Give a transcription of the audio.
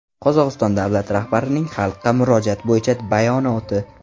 Qozog‘iston davlat rahbarining Xalqqa murojaat bo‘yicha bayonoti.